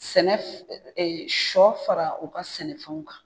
Sɛnɛ sɔ fara u ka sɛnɛfɛnw kan